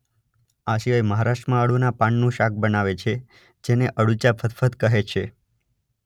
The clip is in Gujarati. આ સિવાય મહારાષ્ટ્રમાં અળૂના પાનનું શાક બનાવે છે જેને અળૂચા ફદફદ કહે છે.